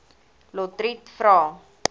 lotriet vra